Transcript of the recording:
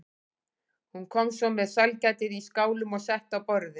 Hún kom svo með sælgætið í skálum og setti á borðið.